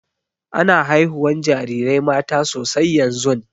Ana haihuwan jarirai mata sosai yanzun.